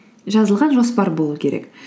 жазылған жоспар болу керек